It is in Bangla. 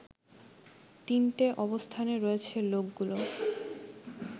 তিনটে অবস্থানে রয়েছে লোকগুলো